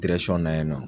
na yen nɔ